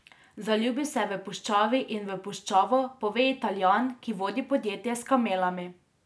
Zaljubil se je v puščavi in v puščavo, pove Italijan, ki vodi podjetje s kamelami.